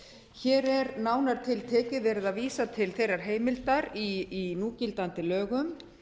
hér er nánar tiltekið verið að vísa til þeirrar heimildar í núgildandi lögum